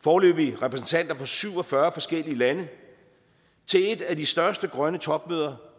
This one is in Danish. foreløbig repræsentanter for syv og fyrre forskellige lande til et af de største grønne topmøder